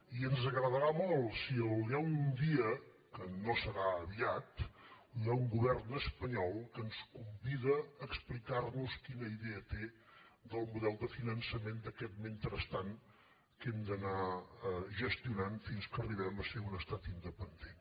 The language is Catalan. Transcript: i ens agradarà molt si un dia que no serà aviat hi ha un govern espanyol que ens convida a explicar nos quina idea té del model de finançament d’aquest mentrestant que hem d’anar gestionant fins que arribem a ser un estat independent